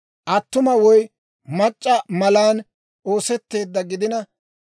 Attuma woy mac'c'a malan oosetteeddawaa gidina